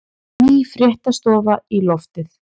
Ný fréttastofa í loftið